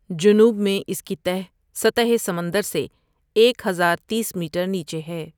جنوب میں اس کی تہہ سطح سمندر سے ایک ہزار تیس میٹر نیچے ہے۔